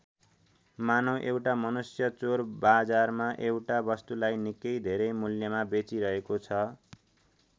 मानौँ एउटा मनुष्य चोरबाजारमा एउटा वस्तुलाई निकै धेरै मूल्यमा बेचिरहेको छ।